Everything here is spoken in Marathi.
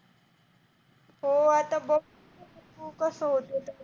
हो आत्ता बघ